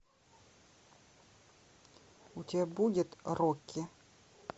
у тебя будет рокки